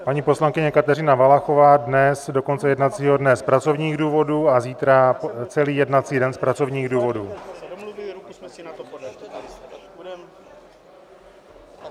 Paní poslankyně Kateřina Valachová dnes do konce jednacího dne z pracovních důvodů a zítra celý jednací den z pracovních důvodů.